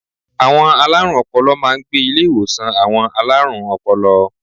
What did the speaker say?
Àwọn alárùn ọpọlọ máa n gbé Ilé ìwòsàn àwon alárùn opolo